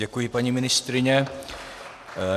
Děkuji, paní ministryně.